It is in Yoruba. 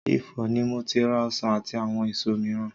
Ifọ̀ ni mo ti ra ọsàn àti àwọn èso mìíràn.